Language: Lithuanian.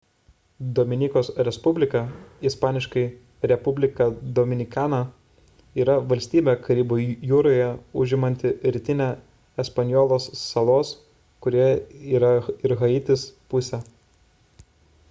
dominikos respublika isp. república dominicana yra valstybė karibų jūroje užimanti rytinę espanjolos salos kurioje yra ir haitis pusę